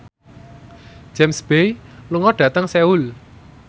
James Bay lunga dhateng Seoul